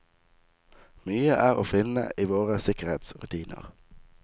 Mye er å finne i våre sikkerhetsrutiner.